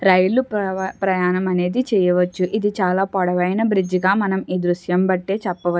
రైలు ప్రవ-ప్రయాణం అనేది చేయవచ్చు ఇది చాలా పొడవైన బ్రిడ్జి గా మనం ఈ దృశ్యం బట్టే చెప్పవ--